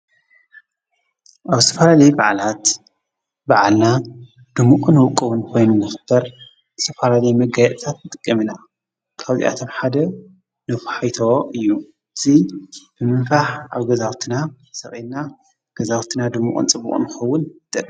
ኣብ ዝተፈላለየ በዓላት በዓልና ድሙቑን ውቁብን ኮይኑ ንኽኽበር ዝተፈላለዩ መጋየፅታት ንጥቀም ኢና፡፡ ካብዚኣቶም ሓደ ነፋሒቶ እዩ፡፡ እዚ ብምንፋሕ ኣብ ገዛውትና ሰቒልና ገዛውትና ድሙቕን ፅቡቕን ክኸውን ይጠቅም፡፡